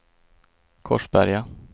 Korsberga